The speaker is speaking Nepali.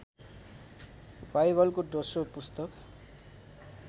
बाइबलको दोश्रो पुस्तक